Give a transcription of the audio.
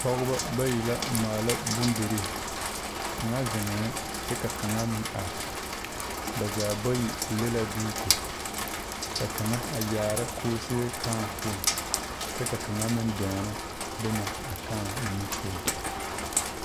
Pɔgeba bayi la a maala bondirii kaŋa zeŋɛɛ kyɛ ka kaŋa meŋ are ba zaa bayi le la duuko ka kaŋa a yaara koose kãã poɔŋ kyɛ ka kaŋa meŋ dɔɔna boma a kãã mine poɔ.